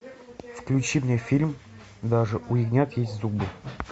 включи мне фильм даже у ягнят есть зубы